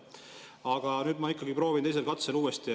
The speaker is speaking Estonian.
Ja ma nüüd proovin teisel katsel uuesti.